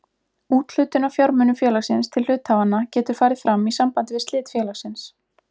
Úthlutun af fjármunum félagsins til hluthafanna getur farið fram í sambandi við slit félagsins.